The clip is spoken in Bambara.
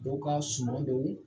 Dɔw ka suman don